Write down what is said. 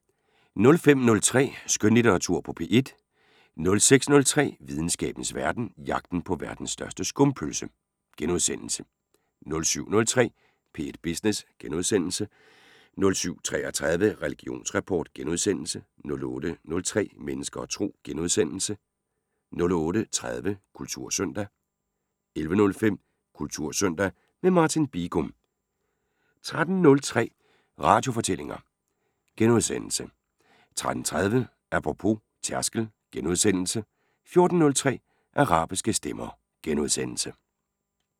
05:03: Skønlitteratur på P1 * 06:03: Videnskabens Verden: Jagten på verdens største skumpølse * 07:03: P1 Business * 07:33: Religionsrapport * 08:03: Mennesker og Tro * 08:30: Kultursøndag 11:05: Kultursøndag – med Martin Bigum 13:03: Radiofortællinger * 13:30: Apropos - tærskel * 14:03: Arabiske stemmer *